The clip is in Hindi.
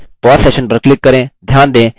pause session पर click करें